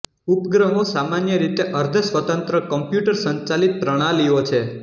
ઉપગ્રહો સામાન્ય રીતે અર્ધસ્વતંત્ર કોમ્પ્યુટર સંચાલિત પ્રણાલીઓ છે